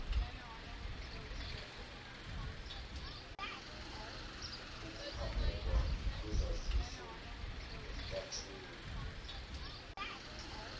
ukuphanyekwa kwezaziso emtatshweni